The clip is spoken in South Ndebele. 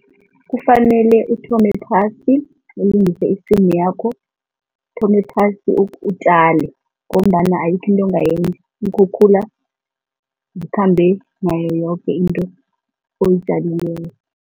Kufanele uthome phasi ulungise isimu yakho. Uthome phasi utjale ngombana ayikho into ongayenza, iinkhukhula zikhambe nayoyoke into oyitjalileko.